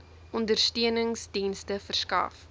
ondersteunings dienste verskaf